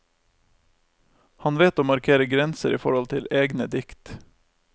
Han vet å markere grenser i forhold til egne dikt.